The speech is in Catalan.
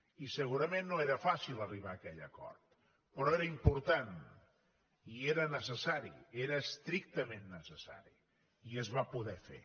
i segurament no era fàcil arribar a aquell acord però era important i era necessari era estrictament necessari i es va poder fer